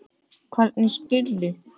Hvernig spyrðu.